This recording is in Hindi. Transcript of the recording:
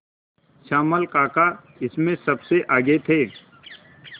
श्यामल काका इसमें सबसे आगे थे